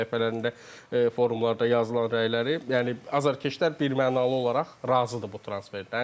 Neftçi səhifələrində forumlarda yazılan rəyləri, yəni azarkeşlər birmənalı olaraq razıdır bu transferdən.